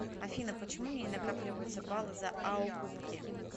афина почему мне не накапливаются балы за аокупки